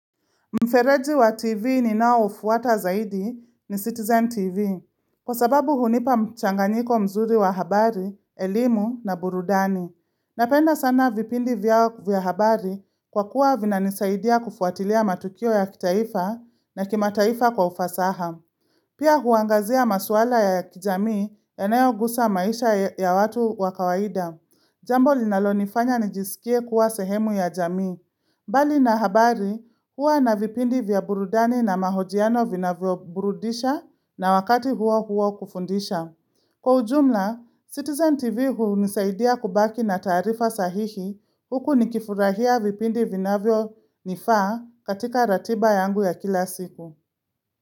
Mfereji wa TV ninaoufuata zaidi ni Citizen TV. Kwa sababu hunipa mchanganyiko mzuri wa habari, elimu na burudani. Napenda sana vipindi vyao vya habari kwa kuwa vinanisaidia kufuatilia matukio ya kitaifa na kimataifa kwa ufasaha. Pia huangazia maswala ya kijamii ya inayogusa maisha ya watu wa wakawaida. Jambo linalo nifanya nijisikie kuwa sehemu ya jami. Mbali na habari huwa na vipindi vya burudani na mahojiano vinavyo burudisha na wakati huwa huwa kufundisha. Kwa ujumla, Citizen TV hunisaidia kubaki na tarifa sahihi huku nikifurahia vipindi vina vyo nifa katika ratiba yangu ya kila siku.